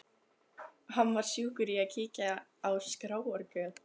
Hann var sjúkur í að kíkja á skráargöt.